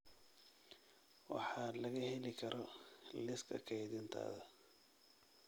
waxa laga heli karo liiska kaydintaada